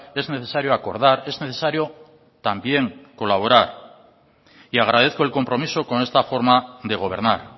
es necesario acordar es necesario también colaborar y agradezco el compromiso con esta forma de gobernar